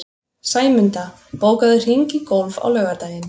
Sæmunda, bókaðu hring í golf á laugardaginn.